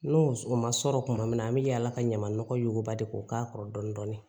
N'o ma sɔrɔ tuma min na an bɛ yaala ka ɲaman nɔgɔ yuguba de k'o k'a kɔrɔ dɔɔnin dɔɔnin